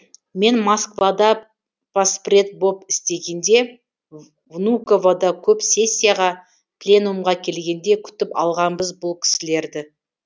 мен москвада поспред боп істегенде внуковада көп сессияға пленумға келгенде күтіп алғанбыз бұл кісілерді